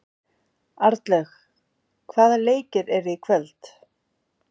Arnlaug, hvaða leikir eru í kvöld?